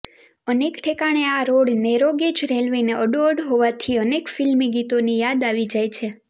અનેક ઠેકાણે આ રોડ નેરોગેજ રેલ્વેને અડોઅડ હોવાથી અનેક ફિલ્મી ગીતોની યાદ આવી જાય છે